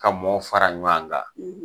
Ka mɔɔw fara ɲɔan kan